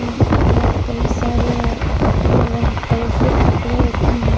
उम यहाँ पे कई सारे कपड़े रंग कलरफुल कपड़े उम्म--